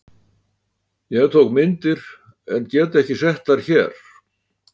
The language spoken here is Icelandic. Ég tók myndir en get ekki sett þær hér.